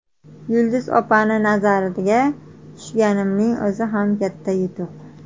Yulduz opani nazariga tushganimning o‘zi ham katta yutuq.